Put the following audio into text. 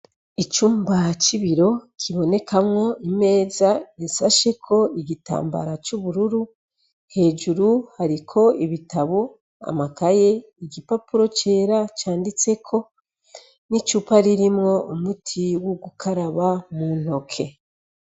Icumba cibiro kibonekamwo imeza insasheko igitambara c'ubururu hejuru hariko ibitabo amakaye igipapuro cera canditseko n'icupa ririmwo umuti w'ugukaraba mu ntoke.